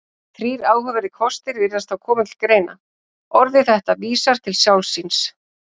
Þrír áhugaverðir kostir virðast þá koma til greina: Orðið þetta vísar til sjálfs sín.